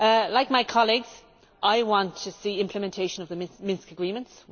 Like my colleagues, I want to see implementation of the Minsk Agreements.